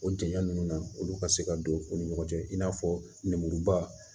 O janya ninnu na olu ka se ka don u ni ɲɔgɔn cɛ i n'a fɔ lemuruba